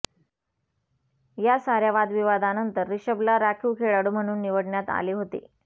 या साऱया वादविवादानंतर रिषभला राखीव खेळाडू म्हणुन निवडण्यात आले होते